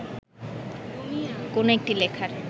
কোনো একটি লেখার